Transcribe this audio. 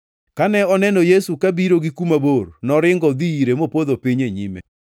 Kane oneno Yesu kabiro gi kuma bor, noringo odhi ire mopodho piny e nyime.